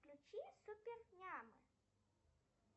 включи супер ням